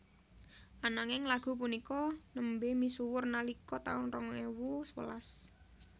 Ananging lagu punika nembé misuwur nalika taun rong ewu sewelas